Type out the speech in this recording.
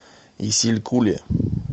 исилькуле